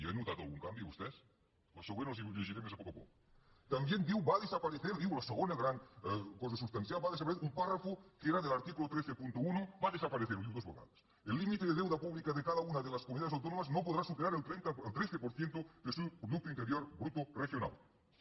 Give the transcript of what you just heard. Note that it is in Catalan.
hi han notat algun canvi vostès la següent els la llegiré més a poc a poc también diu va a desaparecer la segona gran cosa substancial un párrafo que era del artículo cent i trenta un va a desaparecer ho diu dues vegades el límite de deuda pública de cada una de las comunidades autónomas no podrá superar el tretze por ciento de su producto interior bruto regional